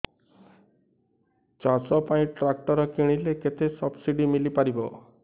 ଚାଷ ପାଇଁ ଟ୍ରାକ୍ଟର କିଣିଲେ କେତେ ସବ୍ସିଡି ମିଳିପାରିବ